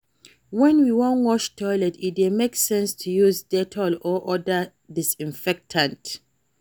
when we wan wash toilet, e dey make sense to use dettol or oda disinfectant